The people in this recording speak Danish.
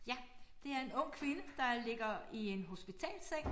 Ja det er en ung kvinde der ligger i en hospitalsseng